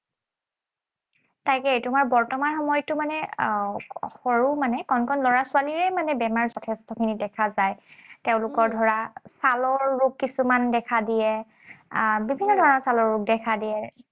তাকেই, তোমাৰ বৰ্তমান সময়তো মানে আহ সৰু মানে কণ কণ লৰা ছোৱালীৰে মানে বেমাৰ যথেষ্টখিনি দেখা যায়। তেওঁলোকৰ ধৰা ছালৰ ৰোগ কিছুমান দেখা দিয়ে। আহ বিভিন্ন ধৰণৰ ছালৰ ৰোগ দেখা দিয়ে।